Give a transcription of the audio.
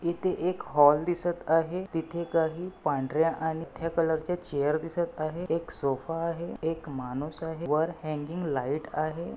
इथे एक हॉल दिसत आहे. तिथे काही पांढऱ्या आणि कलर च्या चेयर दिसत आहेत. एक सोफा आहे. एक माणूस आहे. वर हंगिंग लाइट आहे.